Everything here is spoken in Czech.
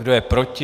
Kdo je proti?